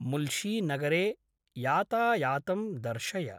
मुल्शीनगरे यातायातं दर्शय।